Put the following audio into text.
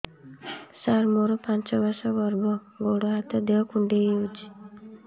ସାର ମୋର ପାଞ୍ଚ ମାସ ଗର୍ଭ ଗୋଡ ହାତ ଦେହ କୁଣ୍ଡେଇ ହେଉଛି